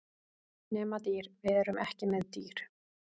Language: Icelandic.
Nema dýr, við erum ekki með dýr.